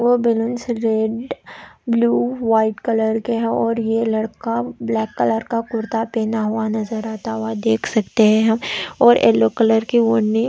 वह balloon red blue white colour के हैं और यह लड़का ब्लैक कलर का कुर्ता पहना हुआ नज़र आता हुआ देख सकते हैं हम और येलो कलर की ओढ़नी--